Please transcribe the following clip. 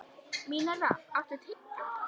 Mínerva, áttu tyggjó?